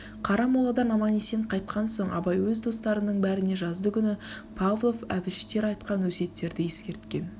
қарамоладан аман-есен қайтқан соң абай өз достарының бәріне жаздыгүні павлов әбіштер айтқан өсиеттерді ескерткен